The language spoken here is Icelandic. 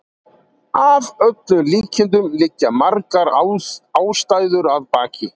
Að öllum líkindum liggja margar ástæður að baki.